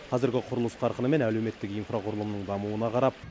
қазіргі құрылыс қарқыны мен әлеуметтік инфрақұрылымның дамуына қарап